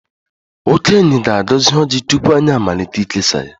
Okenye ga-agọzi ojị tupu anyị amalite ikesa ya.